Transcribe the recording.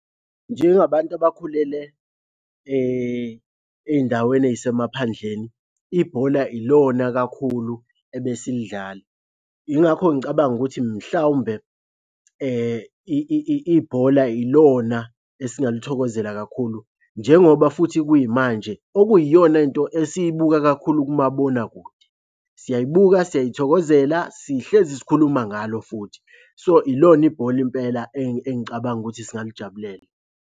Njengabantu abakhulele ey'ndaweni ey'semaphandleni, ibhola ilona kakhulu ebesilidlala. Yingakho ngicabanga ukuthi mhlawumbe ibhola ilona esingalithokozela kakhulu njengoba futhi kuyimanje. Okuyiyona nto esiyibuka kakhulu kumabonakude. Siyayibuka, siyayithokozela, sihlezi sikhuluma ngalo futhi. So, ilona ibhola impela engicabanga ukuthi singalijabulela.